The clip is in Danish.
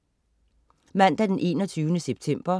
Mandag den 21. september